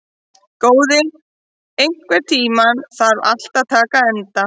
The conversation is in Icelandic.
Góði, einhvern tímann þarf allt að taka enda.